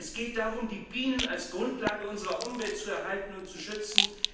Nein, es geht darum, die Bienen als Grundlage unserer Umwelt zu erhalten und zu schützen.